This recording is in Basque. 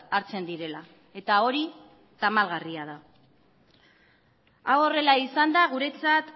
hartzen direla eta hori tamalgarria da hau horrela izanda guretzat